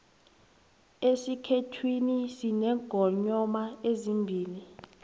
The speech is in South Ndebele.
esikhethwini sinengonyoma ezimbili